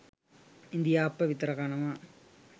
ඉඳිආප්ප විතර කනවා